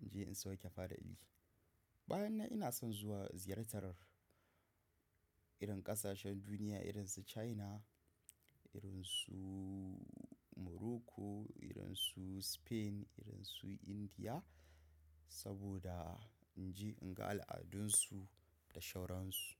In je in sauke fada'ili. Bayan nan ina son zuwa ziyartar irin ƙasashen duniya irin su China, irin su Morocco, irin su Spain, irin su India saboda in je in ga al'adunsu da shauransu.